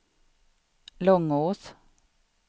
Långås